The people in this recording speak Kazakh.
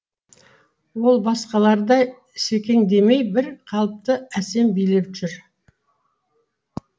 ол басқалардай секеңдемей бір қалыпты әсем билеп жүр